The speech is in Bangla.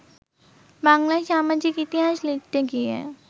বাংলার সামাজিক ইতিহাস লিখতে গিয়ে